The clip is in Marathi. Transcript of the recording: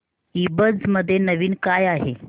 ईबझ मध्ये नवीन काय आहे